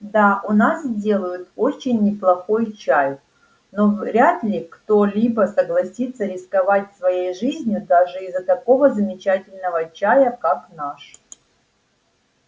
да у нас делают очень неплохой чай но вряд ли кто-либо согласится рисковать своей жизнью даже из-за такого замечательного чая как наш